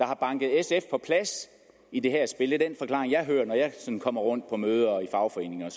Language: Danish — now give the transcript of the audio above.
har banket sf på plads i det her spil det er den forklaring jeg hører når jeg sådan kommer rundt på møder og i fagforeninger